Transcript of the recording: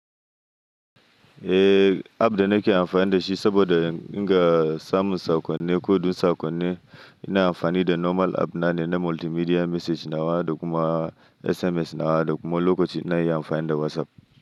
Eh app da nake amfani da shi saboda inga samun saƙonni, ko dai saƙonni ina amfani da normal app na ne na multimedia message nawa da kuma SMS nawa da kuma lokacin na yi amfani da WhatsApp.